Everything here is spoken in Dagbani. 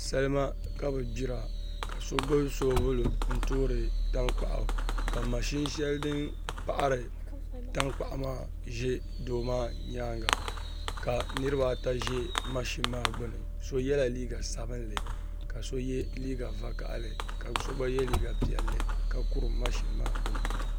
Salima kabi gbira ka so gbubi soobuli n toori tankpaɣu ka mashin shɛli din paɣari tankpaɣu maa ʒɛ doo maa nyaanga ka niraba ata ʒi mashun maa gbuni so yɛla liiga sabinli ka so yɛ liiga vakaɣali ka so gba yɛ liiga piɛlli ka kuri mashin maa gbuni